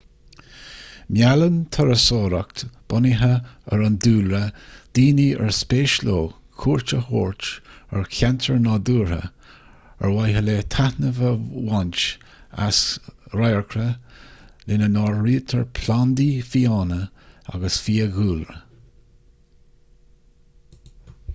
meallann turasóireacht bunaithe ar an dúlra daoine ar spéis leo cuairt a thabhairt ar cheantair nádúrtha ar mhaithe le taitneamh a bhaint as an radharcra lena n-áirítear plandaí fiáine agus fiadhúlra